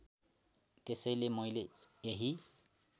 त्यसैले मैले यही